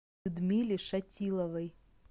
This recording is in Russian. людмиле шатиловой